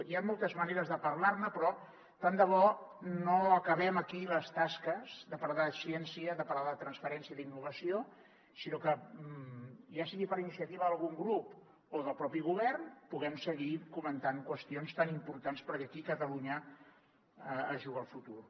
hi han moltes maneres de parlar ne però tant de bo no acabem aquí les tasques de parlar de ciència de parlar de transferència d’innovació sinó que ja sigui per iniciativa d’algun grup o del propi govern puguem seguir comentant qüestions tan importants perquè aquí catalunya es juga el futur